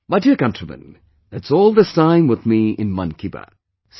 My dear countrymen, that's all this time with me in 'Mann Ki Baat'